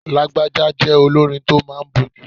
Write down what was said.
Lagbaja jẹ́ olórin tó máa ń bójú.